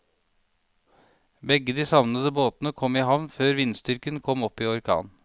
Begge de savnede båtene kom i havn før vindstyrken kom opp i orkan.